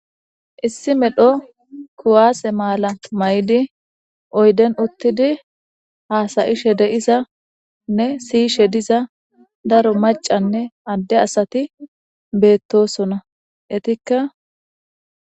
issi medho kuwaase maala mayidi oyden uttidi haasayishe de'izanne siyishe diza daro macanne adde asati beettosona etikka